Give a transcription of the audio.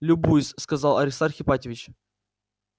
любуюсь сказал аристарх ипатьевич